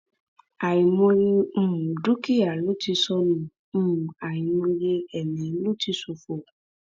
àìmọye um dúkìá ló ti sọnù um àìmọye ẹmí ló ti ṣòfò